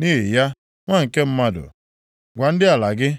“Nʼihi ya, nwa nke mmadụ, gwa ndị ala gị,